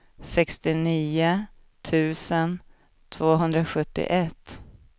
sextionio tusen tvåhundrasjuttioett